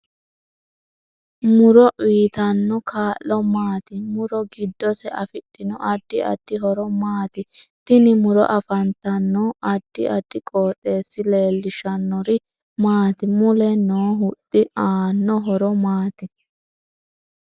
Muro uyiitanno kaa'lo maati muro giddose afidhino addi addi horo maati tini muro afantanno addi addi qoxeesi leelishannori maati mule noo huxxi aanno horo maati